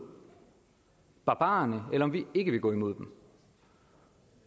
barbarerne eller vi ikke vil gå imod dem